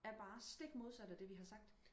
er bare stik modsat af det vi har sagt